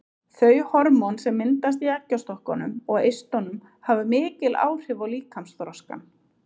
Þau hormón sem myndast í eggjastokkunum og eistunum hafa mikil áhrif á líkamsþroskann.